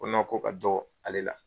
Ko ko ka don ale la.